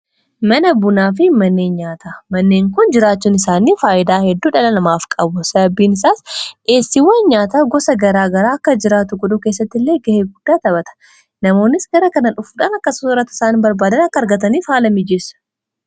Mana bunaa fi manneen nyaata, manneen kun jiraachuun isaanii faayidaa hedduu dhala namaaf qabu. Sababbiin isaas dhiyeessiiwwan nyaata gosa gara garaa akka jiraatu godhuu keessatti illee ga'ee guddaa taphata. Namoonnis gara kana dhufuudhaan akka soorratu isaan barbaadaan akka argataniif haala mijiissu.